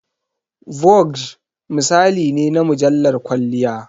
"Vogue" misali ne na mujallar kwalliya.